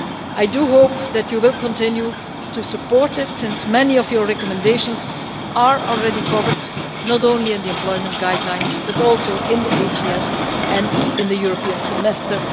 I hope that you will continue to support it since many of your recommendations are already covered not only in the employment guidelines but also in the Annual Growth Survey and, more broadly, in the European Semester.